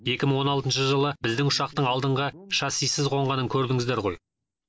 екі мың он алтыншы жылы біздің ұшақтың алдыңғы шассисіз қонғанын көрдіңіздер ғой